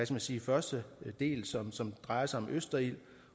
man sige første del som drejer sig om østerild